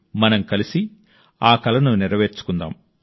మన కల స్వయం సమృద్ధ భారతదేశం